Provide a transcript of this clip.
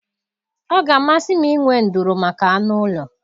Ọ ga-amasị m inwe nduru maka anụ ụlọ.